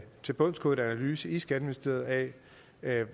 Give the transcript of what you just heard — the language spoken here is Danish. tilbundsgående analyse i skatteministeriet af